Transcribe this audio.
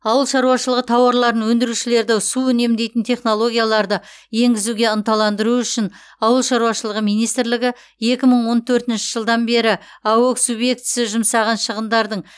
ауыл шаруашылығы тауарларын өндірушілерді су үнемдейтін технологияларды енгізуге ынталандыру үшін ауылшарушылық министрі екі мың он төртінші жылдан бері аөе субъектісі жұмсаған шығындардың